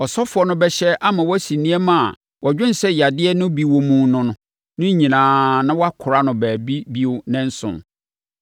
ɔsɔfoɔ no bɛhyɛ ama wɔasi nneɛma a wɔdwene sɛ yadeɛ no bi wɔ mu no no nyinaa na wɔakora no baabi bio nnanson.